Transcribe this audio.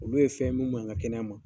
Olu ye fɛn ye mun man ɲi an ka kɛnɛya ma.